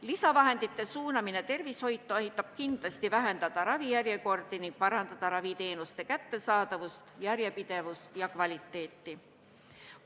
Lisavahendite suunamine tervishoidu aitab kindlasti vähendada ravijärjekordi ning parandada raviteenuste kättesaadavust, järjepidevust ja kvaliteeti.